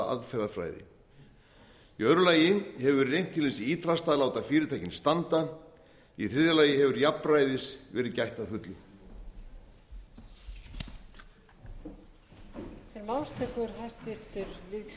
aðferðafræði í öðru lagi hefur verið reynt til hins ýtrasta að láta fyrirtækin standa í þriðja lagi hefur jafnræðis verið gætt að fullu